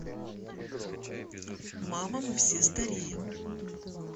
мама мы все стареем